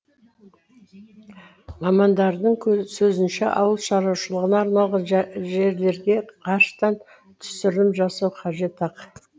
мамандардың сөзінше ауыл шаруашылығына арналған жерлерге ғарыштан түсірілім жасау қажет ақ